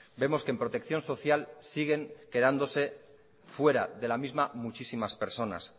vemos que en protección social siguen quedándose fuera de la misma muchísimas personas